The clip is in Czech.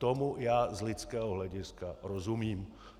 Tomu já z lidského hlediska rozumím.